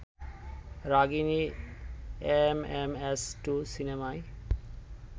Ragini MMS two সিনেমায়